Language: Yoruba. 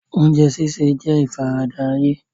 Oúnjẹ sísè jẹ́ ìfaradà ayé.